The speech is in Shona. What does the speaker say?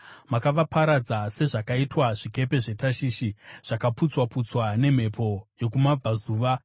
Makavaparadza sezvakaitwa zvikepe zveTashishi, zvakaputswa-putswa nemhepo yokumabvazuva.